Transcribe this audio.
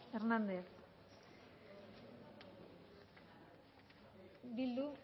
hernández eh bildu